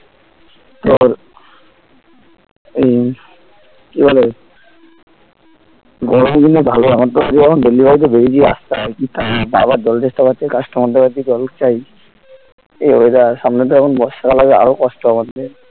এই কি বলে গরমের দিনে ভালো এখন তো কাজে delivery তে বেরিয়েছি রাস্তায় আরকি আবার জল তেষ্টা পাচ্ছে customer দের বাড়িতে জল চাই এই weather সামনে তো এখন বর্ষা কাল আসবে আরো কষ্ট আমাদের